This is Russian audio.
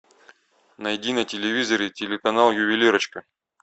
найди на телевизоре телеканал ювелирочка